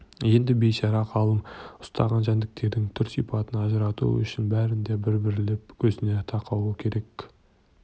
енді бейшара ғалым ұстаған жәндіктерінің түр-сипатын ажырату үшін бәрін де бір-бірлеп көзіне тақауы керек